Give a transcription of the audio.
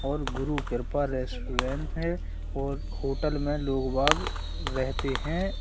और गुरु कृपा रेस्टोरेंट है और होटल में लोग बाग रहते हैं।